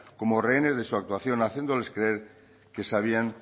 como rehenes de su actuación haciéndoles creer que sabían